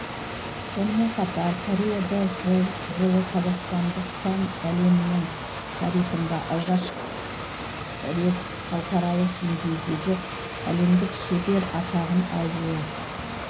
сонымен қатар кореяда жылы қазақстандық сән әлемінің тарихында алғаш рет халықаралық деңгейдегі әлемдік шебер атағын алуы